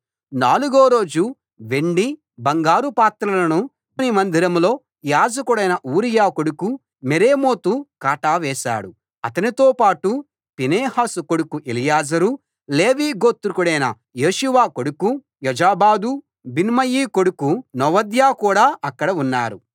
నాలుగో రోజు వెండి బంగారు పాత్రలను మన దేవుని మందిరంలో యాజకుడైన ఊరియా కొడుకు మెరేమోతు కాటా వేశాడు అతనితో పాటు ఫీనెహాసు కొడుకు ఎలియాజరు లేవీ గోత్రికుడైన యేషూవ కొడుకు యోజాబాదు బిన్నూయి కొడుకు నోవద్యా కూడా అక్కడ ఉన్నారు